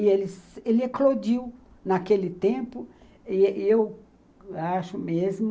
E ele eclodiu naquele tempo e e eu acho mesmo